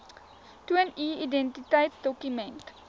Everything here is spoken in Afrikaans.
toon u identiteitsdokument